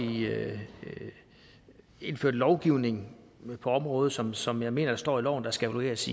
indført lovgivning på området som som jeg mener der står i loven skal evalueres